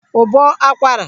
ụbọ akwara